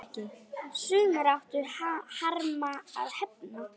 Sumir áttu harma að hefna.